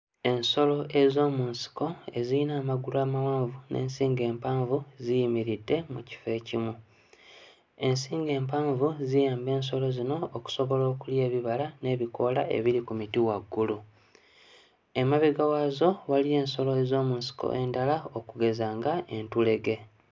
Ensolo ez'omu nsiko eziyina amagulu amawanvu n'ensingo empanvu ziyimiridde mu kifo ekimu. Ensingo empanvu ziyamba ensolo zino okusoloba okulya ebibala n'ebikoola ebiri ku miti waggulu. Emabega waazo waliyo ensolo ez'omu nsiko endala okugeza nga entulege.